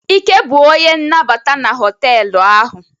Ike bụ onye nnabata na họtelụ ahụ.